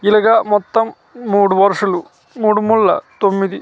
ఇల్లగా మొత్తం మూడు వర్సలు మూడు ముల్లా తొమ్మిది .